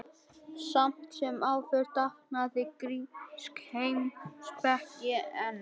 Samt sem áður dafnaði grísk heimspeki enn.